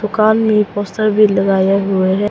दुकान में एक पोस्टर भी लगाया हुआ है।